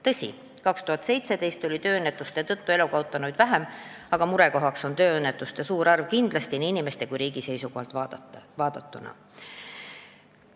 Tõsi, 2017. aastal oli tööõnnetuste tõttu elu kaotanuid vähem, aga murekohaks on tööõnnetuste suur arv kindlasti nii inimeste kui ka riigi seisukohalt vaadatuna.